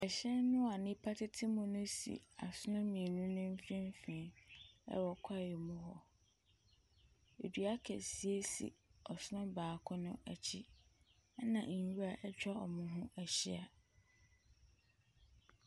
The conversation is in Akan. Hyɛn a nnipa tete mu no si asono mmienu no mfimfini wɔ kwaeɛ mu hɔ. Dua kɛseɛ si ɔsono baako no akyi, ɛnna nwura atwa wɔn ho ahyia.